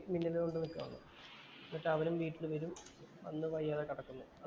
മില്ലിന്‍റെ മുമ്പില്‍ നിക്കുവാണ്. എന്നിട്ട് അവനും വീട്ടില്‍ വരും. അവള് വയ്യാതെ കെടക്കുന്നു.